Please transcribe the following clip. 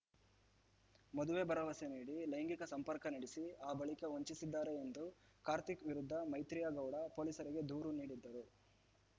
ಮದುವೆ ಭರವಸೆ ನೀಡಿ ಲೈಂಗಿಕ ಸಂಪರ್ಕ ನಡೆಸಿ ಆ ಬಳಿಕ ವಂಚಿಸಿದ್ದಾರೆ ಎಂದು ಕಾರ್ತಿಕ್‌ ವಿರುದ್ಧ ಮೈತ್ರಿಯಾ ಗೌಡ ಪೊಲೀಸರಿಗೆ ದೂರು ನೀಡಿದ್ದರು